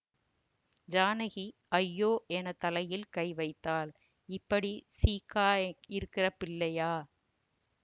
ஜானகி ஐயோ என தலையில் கைவைத்தாள் இப்படி சீக்கா இருக்கிற பிள்ளையா